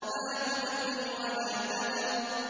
لَا تُبْقِي وَلَا تَذَرُ